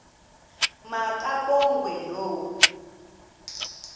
ma kabongwe low